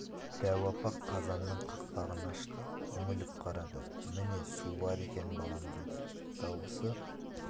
дәу апа қазанның қақпағын ашты үңіліп қарады міне су бар екен балам деді дауысы